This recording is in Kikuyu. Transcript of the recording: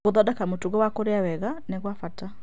Gũthondeka mũtugo wa kũrĩa wega nĩ gwa bata.